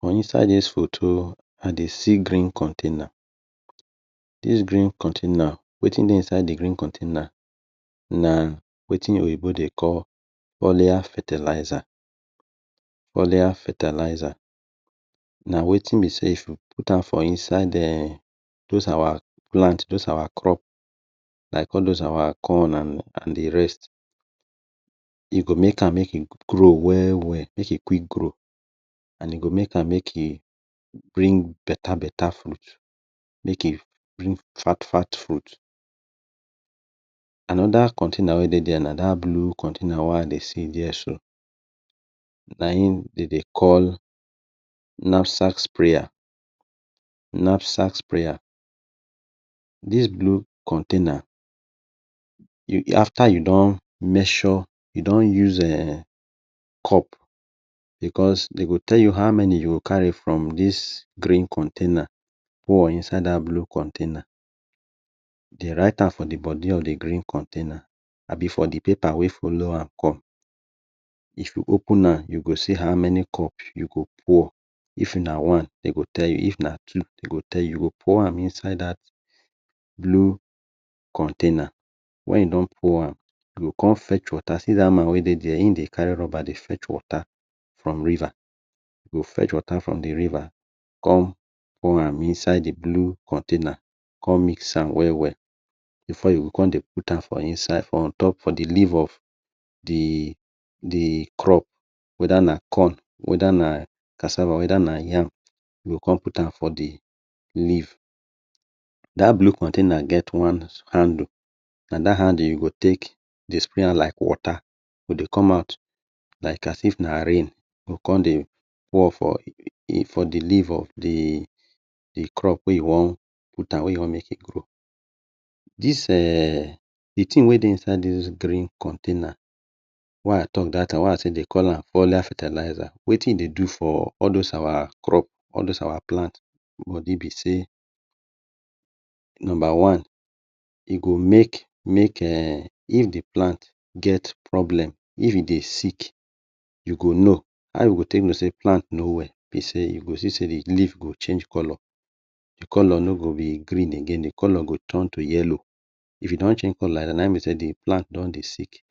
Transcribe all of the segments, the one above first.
For inside dis foto i dey see green con ten a. Dis green con ten a wetin dey inside the green kon ten a na wetin oyibo dey call oiler fertilizer. Oiler fertilizer na wetin be sey if you put am for um inside dos our plant, like all dos our crop like all dos our corn and the rest like e go make am make e grow well well, if e quick grow and e go make am make e bring beta beta frut, make e bring fat fat fruit. Anoda kon ten a na dat blue kon ten a wey I dey see dia so na in de dey call nafsaks spreya, nafsaks spreya.dis blue kon ten a after you don measure, you don use um cup, because de go tell you how many you go kari from dis green kon ten a pour inside dat blue kon ten a, dem rite am for the body of the green kon ten a abi for the pepa wey follow am come.if you open am you go see how many cup you go put if na one de go tell you, if na two de go tell you, go por am inside dat blue kon ten a wen e don por am, you go come fetch water, see dat man wey dey dia im dey kari rubber fetch water for riva, you go fetch water from the riva, come pour am inside the blue kon ten a come mix am well well before you go come dey put am for the leaf of the crop, weda na corn, weda na cassava, weda na yam, you go come put am for the leaf. Dat blue kon ten a get one handle and dat handle you go take dey spray am like water, e come out like as if na rain con dey pour for the leaf of the crop wey you wan put am, wey you wan make e grow. d eh The tin wey dey inside dis green kon ten a wey I talk dat time, wey dey call am oiler fertilizer wetin e dey do for all dos our crop, all dos our plant body be sey: Number one: e go make, make if the plant get problem, if e dey sick u go no how you go take no sey plant no well e go see say the leaf change color, the color no go be green, e go ton to yellow. If e don change color like dis na in be sey the plant don dey sick,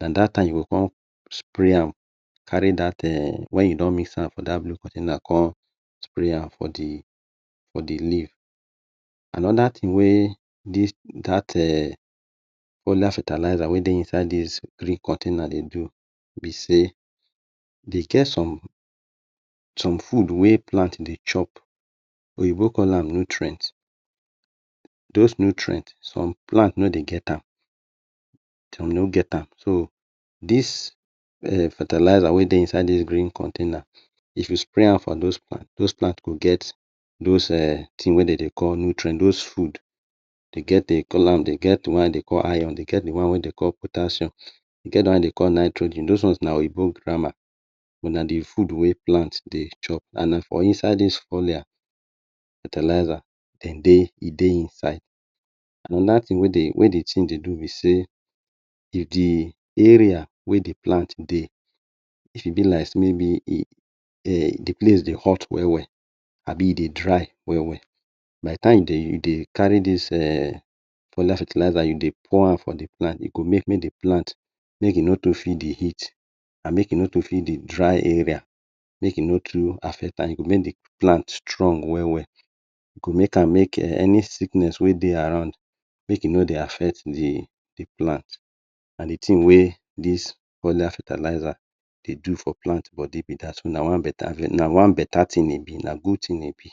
na dat time you go come spray am wen you don mis am for the blue kon ten a come spray am for the leaf. Anoda tin wey dat fertilizer wey dey inside dis green container dey do be sey, e get some food wey plant dey chop oyibo call am nutrient, dos nutrient some plant no dey get am, some no get am so um dis fertilizer wey dey inside dis green kon ten a if you spray am for dos plant dos plant go get dos tins wey de dey call nutrient and dos fruit, de get the one de dey call iron. De get the de dey call potassium, de get the one de dey call nitrogen, dis ones na oyibo grama but na the fruit wey plant dey chop and na for inside the oiler, fertilizer e dey inside. Anoda tin wey the tin dey do be sey, the area wey the plant dey e fit be like sey mey be the place dey hot well well abi e dey dry well well by the time you dey kari dis oiler fertilizer pour am for the plant e go make the plant make e no too feel the heat make e no fit the dry area, make e no too affect am e go make the plan strong well well, e go make am make any sickness wey dey around make e no dey affect the plant, na the tin wey dis oiler fertilizer dey do for plant body be dat, na one beta tin e be na good tin e be.